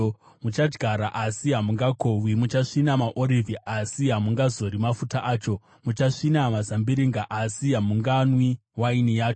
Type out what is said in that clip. Muchadyara asi hamungakohwi; muchasvina maorivhi asi hamungazori mafuta acho, muchasvina mazambiringa asi hamunganwi waini yacho.